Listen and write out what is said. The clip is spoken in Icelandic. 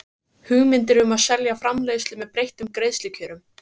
hugmyndir um að selja framleiðslu með breyttum greiðslukjörum.